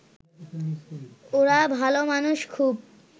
ওরা ভাল মানুষ খুব